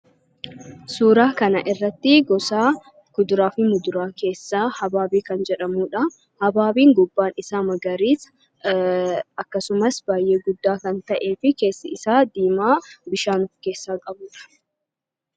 Suuraa kana irratti gosa kuduraa fi muduraa keessaa habaabee kan jedhamudha. Habaabeen gubbaa isaa magariisa akkasumas baay'ee guddaa kan ta'ee fi keessi isaa diimaa bishaan of keessaa qabudha.